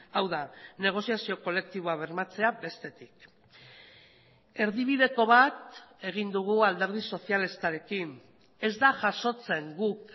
hau da negoziazio kolektiboa bermatzea bestetik erdibideko bat egin dugu alderdi sozialistarekin ez da jasotzen guk